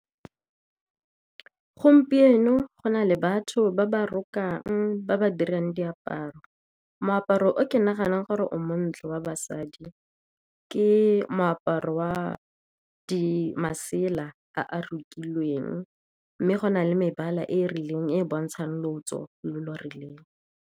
Gompieno go na le batho ba ba rokang ba ba dirang diaparo, moaparo, ke naganang gore o montle wa basadi ke moaparo wa masela a a rokilweng, mme go na le mebala e rileng e e bontshang lotso lo lo rileng.